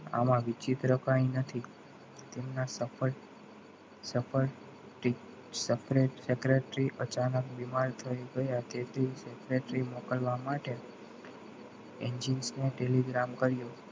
આમાં વિચિત્ર કંઈ નથી તેમના sport sport secretary અચાનક બીમાર થઈ ગયા તેથી secretary મોકલવા માટ engines ને telegram કર્યો